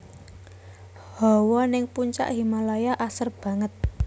Hawa ning Puncak Himalaya asrep banget